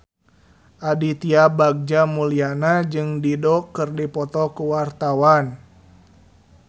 Aditya Bagja Mulyana jeung Dido keur dipoto ku wartawan